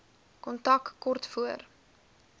kontak kort voor